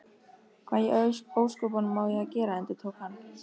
Hvað í ósköpunum á ég að gera? endurtók hann.